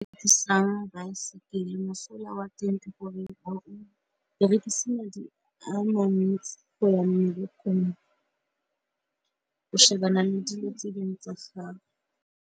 baesekele mosola wa teng ke gore o berekisana madi amantsi go ya mmerekong, o shebana le dilo tse dingwe tsa gago.